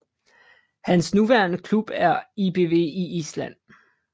Hans nuværende klub er ÍBV i Island